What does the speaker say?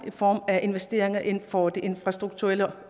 i form af investeringer inden for det infrastrukturelle